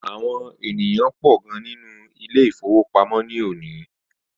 Àwọn ènìyàn pọ gan nínú Ilé-ìfowópamó ni òní